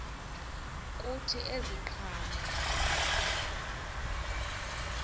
kuthi ezi ziqhamo